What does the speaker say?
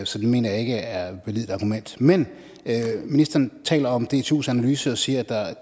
så det mener jeg ikke er et validt argument men ministeren taler om dtus analyse og siger at